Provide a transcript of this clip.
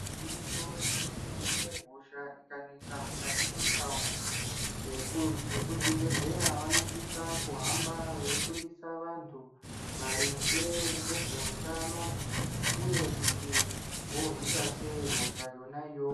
Igwinyiso remene mene hosha ikanesa mukati mwendau vekuzvibhehleya vanosise kuhamba veyi fundise vantu maringe ngezveutano uye kuti vorwisa sei hosha yona iyoyo.